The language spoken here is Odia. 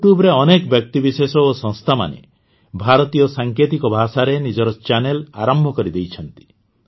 ୟୁଟ୍ୟୁବରେ ଅନେକ ବ୍ୟକ୍ତିବିଶେଷ ଓ ସଂସ୍ଥାମାନେ ଭାରତୀୟ ସାଙ୍କେତିକ ଭାଷାରେ ନିଜର ଚ୍ୟାନେଲ ଆରମ୍ଭ କରିଦେଇଛନ୍ତି